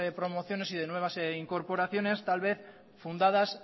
promociones y de nuevas incorporaciones tal vez fundadas